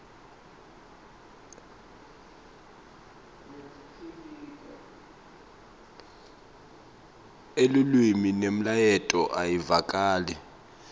elulwimi nemlayeto awuvakali